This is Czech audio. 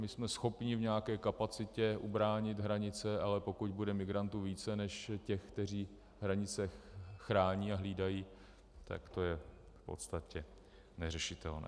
My jsme schopni v nějaké kapacitě ubránit hranice, ale pokud bude migrantů více než těch, kteří hranice chrání a hlídají, tak to je v podstatě neřešitelné.